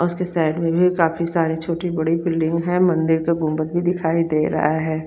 उसके साइड में भी काफी सारी छोटी बड़ी बिल्डिंग है मंदिर का गुंबद भी दिखाई दे रहा है।